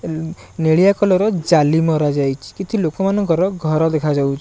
ନେଳିଆ କଲର ର ଜାଲି ମରା ଯାଇଚି କିଛି ଲୋକମାନଙ୍କର ଘର ଦେଖାଯାଉ --